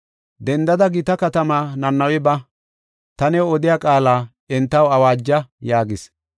“Dendada gita katamaa Nanawe ba; ta new odiya qaala entaw awaaja” yaagis.